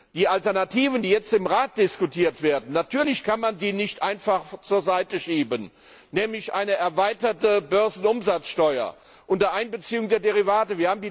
Die Alternativen, die jetzt im Rat diskutiert werden, kann man natürlich nicht einfach zur Seite schieben, nämlich eine erweiterte Börsenumsatzsteuer unter Einbeziehung der Derivate.